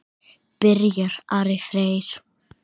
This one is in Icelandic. Byrjar Ari Freyr?